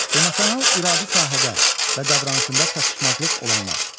Emosional iradi sahədə və davranışında çatışmazlıq olanlar.